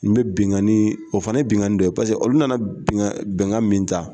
N bɛ bɛnganin o fana ye bɛnganin dɔ ye paseke olu nana bin bɛnkan min ta.